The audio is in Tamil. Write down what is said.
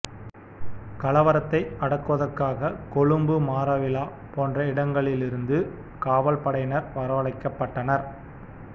கலவரத்தை அடக்குவதற்காக கொழும்பு மாறவில போன்ற இடங்களிலிருந்து காவல்படையினர் வரவழைக்கப்பட்டனர்